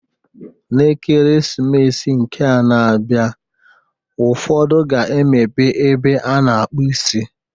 N'Ekeresimesi nke a na-abịa ụfọdụ ga-emepe ebe a na-akpụ isi.